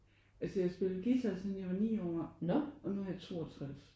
Altså jeg spillede guitar siden jeg var 9 år og nu er jeg 62